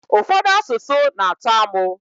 Ụfọdụ asụsụ n'atọ amụ